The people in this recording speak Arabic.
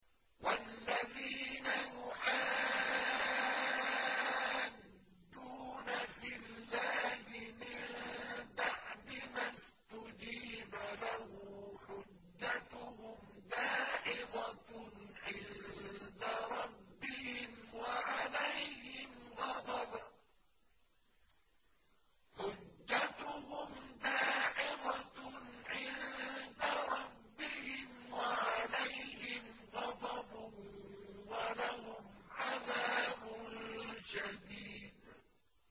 وَالَّذِينَ يُحَاجُّونَ فِي اللَّهِ مِن بَعْدِ مَا اسْتُجِيبَ لَهُ حُجَّتُهُمْ دَاحِضَةٌ عِندَ رَبِّهِمْ وَعَلَيْهِمْ غَضَبٌ وَلَهُمْ عَذَابٌ شَدِيدٌ